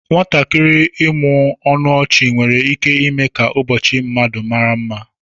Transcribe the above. Nwatakịrị ịmụmụ ọnụ ọchị nwere ike ime ka ụbọchị mmadụ mara mma